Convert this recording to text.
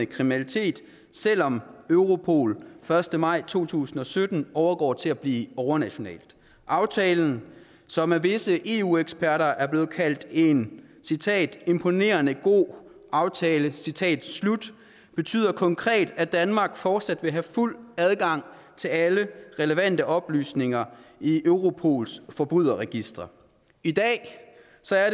kriminalitet selv om europol den første maj to tusind og sytten overgår til at blive overnationalt aftalen som af visse eu eksperter er blevet kaldt en citat imponerende god aftale citat slut betyder konkret at danmark fortsat vil have fuld adgang til alle relevante oplysninger i europols forbryderregister i dag